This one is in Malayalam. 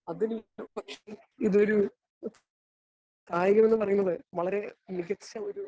സ്പീക്കർ 1 അതിൽ ഒരു പക്ഷെ ഇതൊരു കായിക മേഖല അല്ലെങ്കില് വളരെമികച്ച ഒരു